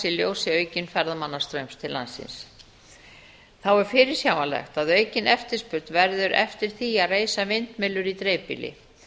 ljósi aukins ferðamannastraums til landsins þá er fyrirsjáanlegt að aukin eftirspurn verður eftir því að reisa vindmyllur í dreifbýli